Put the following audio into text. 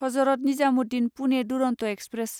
Hazrat Nizamuddin Pune Duronto express